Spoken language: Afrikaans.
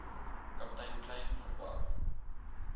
kaptein kleyn verwar